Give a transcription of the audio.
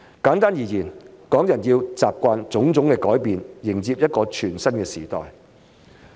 簡單而言，港人要習慣種種改變，迎接一個全新的時代。